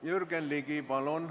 Jürgen Ligi, palun!